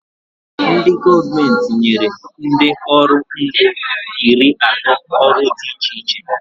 Ndị gọọmenti nyere ndị ọrụ ngo iri atọ ọrụ dị iche iche